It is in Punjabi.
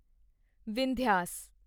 ਵਿੰਧਿਆਸ